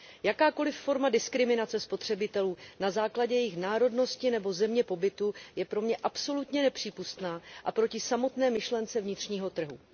Jakákoli forma diskriminace spotřebitelů na základě jejich národnosti nebo země pobytu je pro mě absolutně nepřípustná a proti samotné myšlence vnitřního trhu.